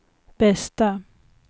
bästa